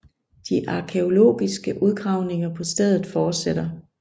De arkæologiske udgravninger på stedet fortsætter